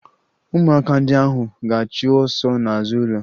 Ụmụaka ndị ahụ ga-achụ ọsọ n'azụ ụlọ